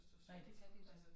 Nej det kan de da